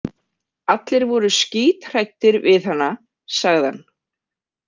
Allir voru skíthræddir við hana, sagði hann.